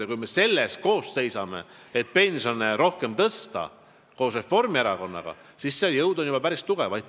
Ja kui me koos Reformierakonnaga seisame selle eest, et pensione rohkem tõsta, siis on see juba päris tugev jõud.